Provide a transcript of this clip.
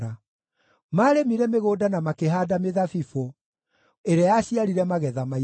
Maarĩmire mĩgũnda na makĩhaanda mĩthabibũ, ĩrĩa yaciarire magetha maingĩ;